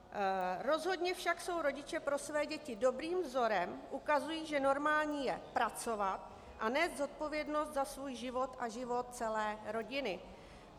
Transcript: Rozhodně však jsou rodiče pro své děti dobrým vzorem, ukazují, že normální je pracovat a nést zodpovědnost za svůj život a život celé rodiny.